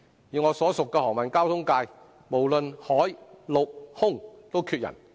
以我所屬的航運交通界，無論海、陸、空都缺人。